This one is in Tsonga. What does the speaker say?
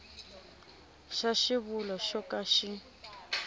xa xivulwa xo ka xi